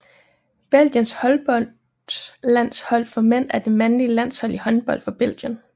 Belgiens håndboldlandshold for mænd er det mandlige landshold i håndbold for Belgien